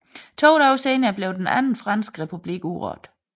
To dage senere blev den Anden franske republik udråbt